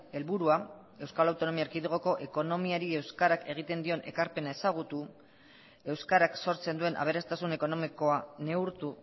helburua euskal autonomia erkidegoko ekonomiari euskarak egiten dion ekarpena ezagutu euskarak sortzen duen aberastasun ekonomikoa neurtu